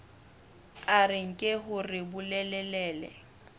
a re nke hore bolelele